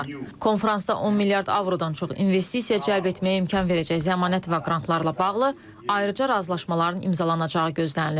Konfransda 10 milyard avrodan çox investisiya cəlb etməyə imkan verəcək zəmanət və qrantlarla bağlı ayrıca razılaşmaların imzalanacağı gözlənilir.